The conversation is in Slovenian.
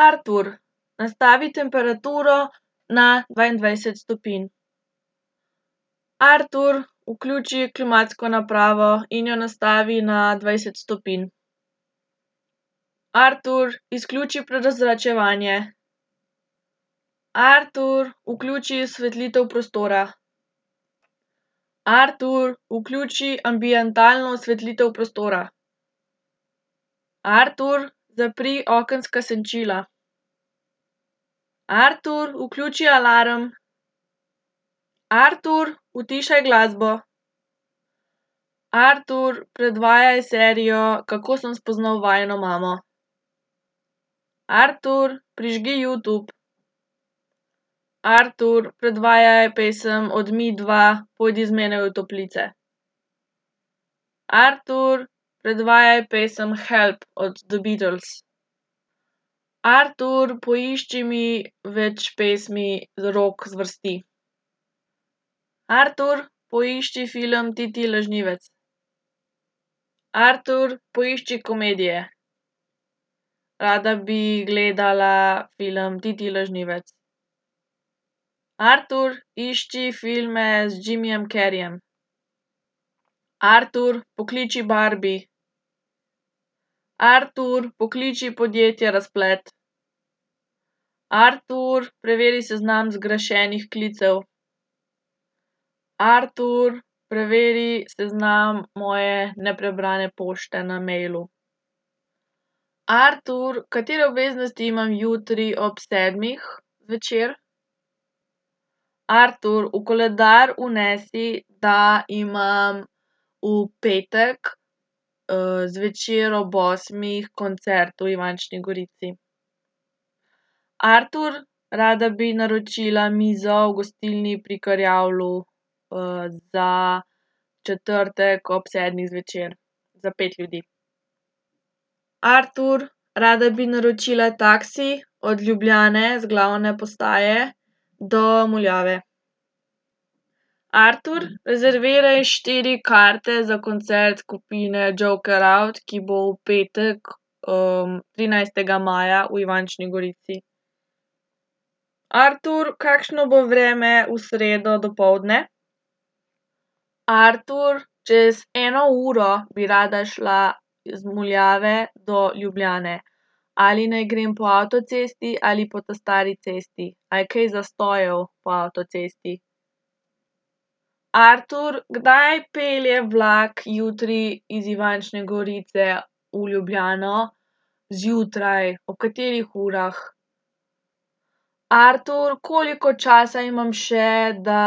Artur, nastavi temperaturo na dvaindvajset stopinj. Artur, vključi klimatsko napravo in jo nastavi na dvajset stopinj. Artur, izključi prezračevanje. Artur, vključi osvetlitev prostora. Artur, vključi ambientalno osvetlitev prostora. Artur, zapri okenska senčila. Artur, vključi alarm. Artur, utišaj glasbo. Artur, predvajaj serijo Kako sem spoznal vajino mamo. Artur, prižgi Youtube. Artur, predvajaj pesem od Midva, Pojdi z menoj v toplice. Artur, predvajaj pesem Help od The Beatles. Artur, poišči mi več pesmi rock zvrsti. Artur, poišči film Ti, ti lažnivec. Artur, poišči komedije. Rada bi gledala film Ti, ti lažnivec. Artur, išči filme z Jimmyjem Carreyjem. Artur, pokliči Barbi. Artur, pokliči podjetje Razplet. Artur, preveri seznam zgrešenih klicev. Artur, preveri seznam moje neprebrane pošte na mailu. Artur, katere obveznosti imam jutri ob sedmih zvečer? Artur, v koledar vnesi, da imam v petek, zvečer ob osmih koncert v Ivančni Gorici. Artur, rada bi naročila mizo v gostilni Pri Krjavlju, za četrtek ob sedmih zvečer, za pet ljudi. Artur, rada bi naročila taksi od Ljubljane, z glavne postaje, do Muljave. Artur, rezerviraj štiri karte za koncert skupine Joker out, ki bo v petek, trinajstega maja v Ivančni Gorici. Artur, kakšno bo vreme v sredo dopoldne? Artur, čez eno uro bi rada šla z Muljave do Ljubljane. Ali naj grem po avtocesti ali po ta stari cesti? A je kaj zastojev po avtocesti? Artur, kdaj pelje vlak jutri iz Ivančne Gorice v Ljubljano? Zjutraj, ob katerih urah? Artur, koliko časa imam še, da